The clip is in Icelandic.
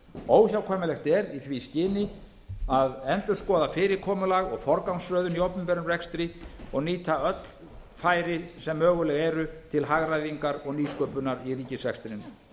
óhjákvæmilegt er í því skyni að endurskoða fyrirkomulag og forgangsröðun í opinberum rekstri og nýta öll færi sem möguleg eru til hagræðingar og nýsköpunar í ríkisrekstrinum